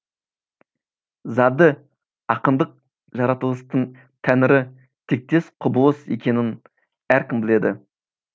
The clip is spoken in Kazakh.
зады ақындық жаратылыстың тәңірі тектес құбылыс екенін әркім біледі